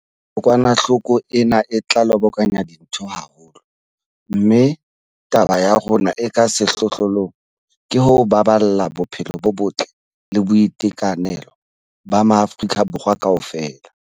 Kokwanahloko ena e tla lobokanya dintho haholo, mme taba ya rona e ka sehlohlolong ke ho baballa bophelo bo botle le boitekanelo ba maAforika Borwa kaofela.